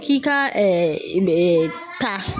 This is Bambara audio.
K'i ka taa.